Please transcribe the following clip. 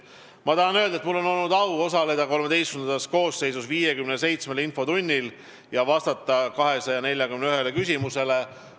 Ma tahan öelda, et mul on olnud au osaleda XIII koosseisus 57 infotunnis ja vastata 241 küsimusele.